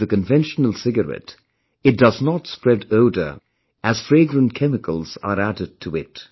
Like the conventional cigarette, it does not spread odour as fragrant chemicals are added to it